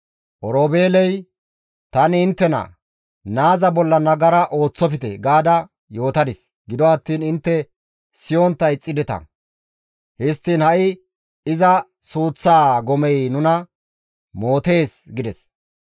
Oroobeeley, «Tani inttena, ‹Naaza bolla nagara ooththofte› gaada yootadis; gido attiin intte siyontta ixxideta. Histtiin ha7i iza suuththaa gomey nuna mootees» gides.